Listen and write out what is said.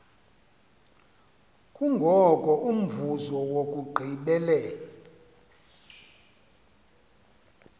kungoko umvuzo wokugqibela